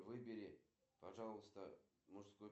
салют кто мэр дубаи